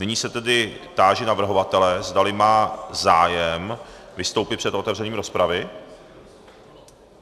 Nyní se tedy táži navrhovatele, zdali má zájem vystoupit před otevřením rozpravy.